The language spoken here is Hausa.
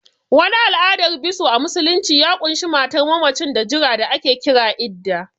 Wani al'adar biso a musulunci ya ƙunshi matar mammacin da jira da ake kira Iddah